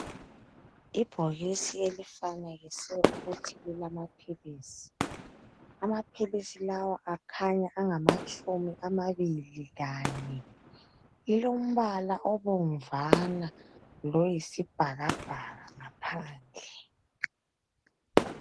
ibhokisi elifanekiswe ukuthi lilama philisi amaphilisi lawa akhanya angamatshuni amabili lanye lilombala obomvana loyisibhakabhaka phakathi